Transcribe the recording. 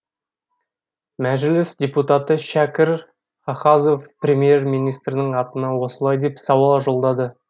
мәжіліс депутаты шәкір хахазов премьер министрдің атына осылай деп сауал жолдады